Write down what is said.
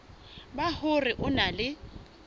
ba hore o na le